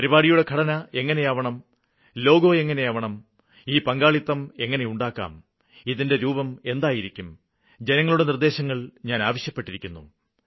പരിപാടിയുടെ ഘടന എങ്ങനെയാവണം ലോഗോ എങ്ങനെയാവണം ഈ പങ്കാളിത്തം എങ്ങനെയുണ്ടാക്കാം ഇതിന്റെ രൂപം എന്തായിരിക്കും ജനങ്ങളുടെ നിര്ദ്ദേശങ്ങള് ഞാന് ആവശ്യപ്പെട്ടിരുന്നു